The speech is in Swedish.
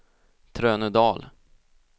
Trönödal